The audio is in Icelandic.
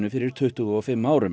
fyrir tuttugu og fimm árum